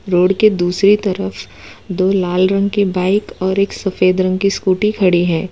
Road के दूसरी तरफ दो लाल रंग की बाइक और एक सफेद रंग की स्कूटी खड़ी है।